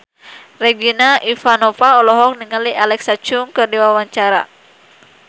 Regina Ivanova olohok ningali Alexa Chung keur diwawancara